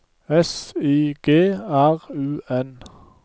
S I G R U N